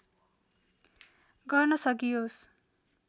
गर्न सकियोस्